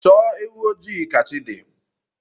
Chọọ ewu ojii ka chi dị